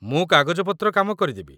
ମୁଁ କାଗଜପତ୍ର କାମ କରିଦେବି।